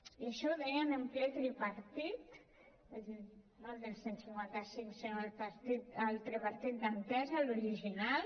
i això ho deien en ple tripartit no el del cent i cinquanta cinc sinó el tripartit d’entesa l’original